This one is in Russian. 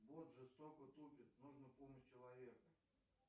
бот жестоко тупит нужно помощь человека